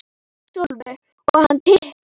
Sólveig: Og hann tikkar?